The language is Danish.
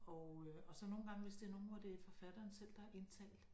Og øh og så nogle gange hvis det nogen hvor det forfatteren selv der har indtalt